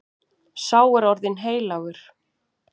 Sá er orðinn heilagur.